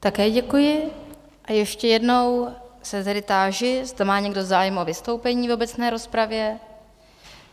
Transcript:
Také děkuji, a ještě jednou se tedy táži, zda má někdo zájem o vystoupení v obecné rozpravě?